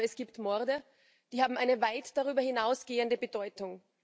Aber es gibt Morde, die haben eine weit darüber hinausgehende Bedeutung.